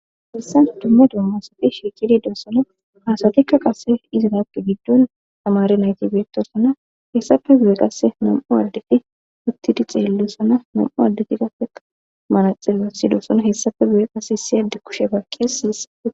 Hessans dumme doommasati shiiqidi doossona haasatikka qasse izraaqi giddol tamari naytibeettosana hessafe guye qasse nam7u addeti uttidi xeellossana nam7u addeti qafea manaxilassidosona hessafe guye qase hisi adde kushe baaqqees siyisae.